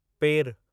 पेरु